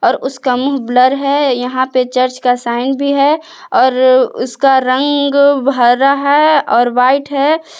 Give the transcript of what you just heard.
उसका मुंह ब्लर है यहां पे चर्च का साइन भी है और उसका रंग हरा है और वाइट है।